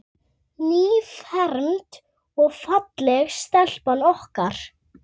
Nýfermd og falleg stelpan okkar.